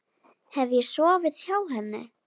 Hef ég sofið hjá henni?